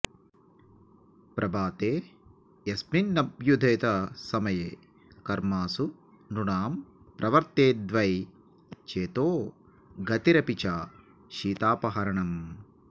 प्रभाते यस्मिन्नभ्युदितसमये कर्मसु नृणां प्रवर्तेद्वै चेतो गतिरपि च शीतापहरणम्